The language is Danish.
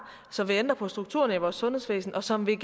som vil ændre på strukturen i vores sundhedsvæsen og som vil